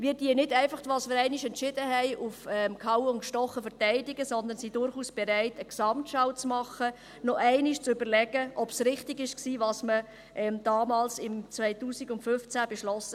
Wir verteidigen nicht einfach gehauen wie gestochen, was wir einmal entschieden haben, sondern sind durchaus bereit, eine Gesamtschau zu machen und noch einmal zu überlegen, ob richtig war, was man damals, 2015, beschloss.